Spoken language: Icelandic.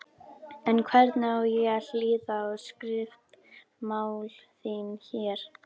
En hvernig á ég að hlýða á skriftamál þín. hér!